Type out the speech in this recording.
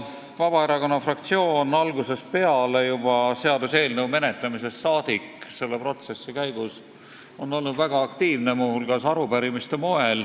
Vabaerakonna fraktsioon on algusest peale, seaduseelnõu menetlemisest saadik, selle protsessi käigus väga aktiivne olnud, muu hulgas esitanud arupärimisi.